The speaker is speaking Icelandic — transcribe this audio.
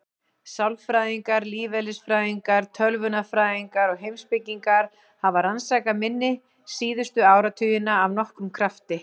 Sálfræðingar, lífeðlisfræðingar, tölvunarfræðingar og heimspekingar hafa rannsakað minni síðustu áratugina af nokkrum krafti.